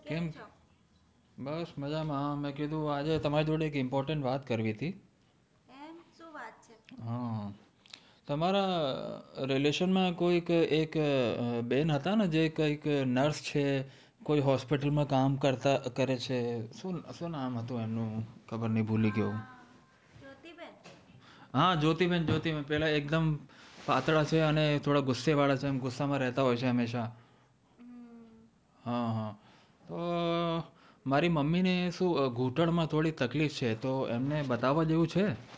મારી મમ્મી ને શું ઘૂંટણ માં થોડી તકલીફ છે તો એમને બતાવા જેવું છે?